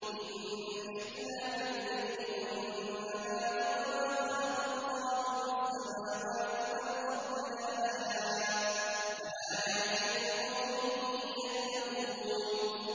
إِنَّ فِي اخْتِلَافِ اللَّيْلِ وَالنَّهَارِ وَمَا خَلَقَ اللَّهُ فِي السَّمَاوَاتِ وَالْأَرْضِ لَآيَاتٍ لِّقَوْمٍ يَتَّقُونَ